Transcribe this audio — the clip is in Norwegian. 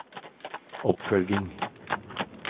oppfølging